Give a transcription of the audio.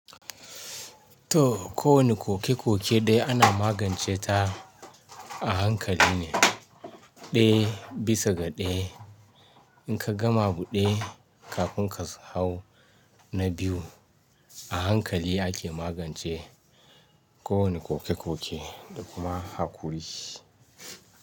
To, kowane koke-koke dai ana magance ta a hankali ne, ɗaya bisa ga ɗaya. In ka gama buɗe, kafin ka hau na biyu, a hankali ake magance kowane koke-koke da kuma haƙuri.